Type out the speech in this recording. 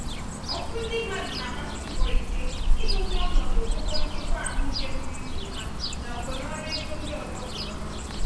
ọtụtụ ndị mmadụ na-agbasi mbọ ike idozii ọnọdụ ụgwọ nchekwa ahụike pụrụ iche ha na okenaọrụ ego ndị ọzọ kwa ọnwa.